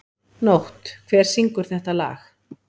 Nótt, hver syngur þetta lag?